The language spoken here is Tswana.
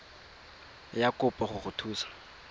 ya kopo go go thusa